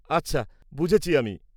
-আচ্ছা, বুঝেছি আমি।